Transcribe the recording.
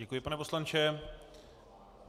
Děkuji, pane poslanče.